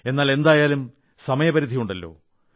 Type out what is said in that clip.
എന്നാൽ എന്തായാലും സമയപരിധിയുണ്ടല്ലോ